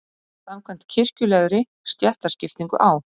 Samkvæmt kirkjulegri stéttaskiptingu á